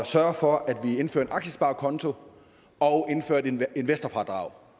sørge for at vi indførte en aktiesparekonto og investorfradrag